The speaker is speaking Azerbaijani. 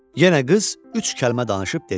Yenə qız üç kəlmə danışıb dedi: